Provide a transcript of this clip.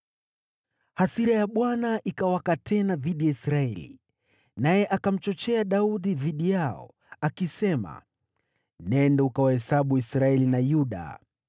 Hasira ya Bwana ikawaka tena dhidi ya Israeli, naye akamchochea Daudi dhidi yao, akisema, “Nenda ukawahesabu Israeli na Yuda.”